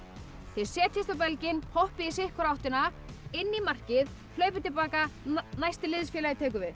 þið setjist á belginn hoppið í sitthvora áttina inn í markið hlaupið til baka næsti liðsfélagi tekur við